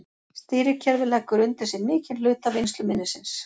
stýrikerfið leggur undir sig mikinn hluta vinnsluminnisins